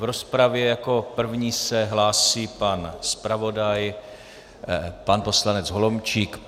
V rozpravě jako první se hlásí pan zpravodaj pan poslanec Holomčík.